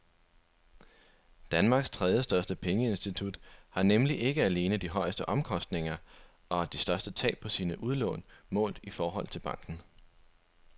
Danmarks tredjestørste pengeinstitut har nemlig ikke alene de højeste omkostninger og de største tab på sine udlån målt i forhold til balancen.